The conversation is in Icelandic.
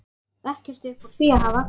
Ekkert upp úr því að hafa!